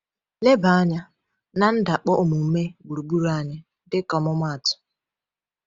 Leba anya na ndakpọ omume gburugburu anyị, dịka ọmụmaatụ.